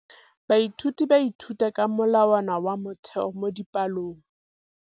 Baithuti ba ithuta ka molawana wa motheo mo dipalong.